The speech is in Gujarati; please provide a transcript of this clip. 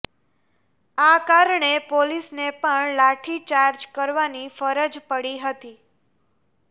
આ કારણે પોલીસને પણ લાઠીચાર્જ કરવાની ફરજ પડી હતી